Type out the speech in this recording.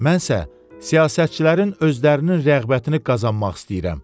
Mənsə siyasətçilərin özlərinin rəğbətini qazanmaq istəyirəm.